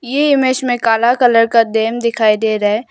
ये इमेज में काला कलर का देम दिखाई दे रहा है।